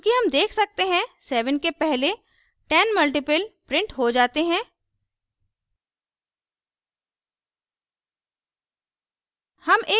चूँकि हम देख सकते हैं 7 के पहले 10 multiples printed हो जाते हैं